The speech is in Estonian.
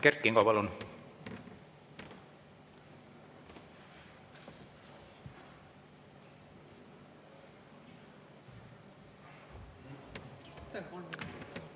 Kert Kingo, palun!